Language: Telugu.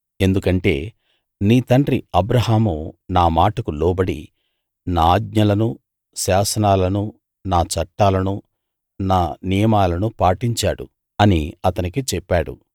ఎందుకంటే నీ తండ్రి అబ్రాహాము నా మాటకు లోబడి నా ఆజ్ఞలనూ శాసనాలనూ నా చట్టాలనూ నా నియమాలనూ పాటించాడు అని అతనికి చెప్పాడు